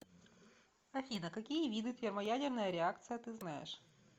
афина какие виды термоядерная реакция ты знаешь